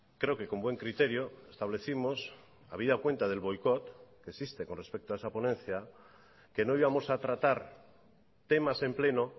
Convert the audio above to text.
creo que con buen criterio establecimos habida cuenta del boicot que existe con respecto a esa ponencia que no íbamos a tratar temas en pleno